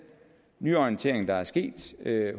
nyorientering der er sket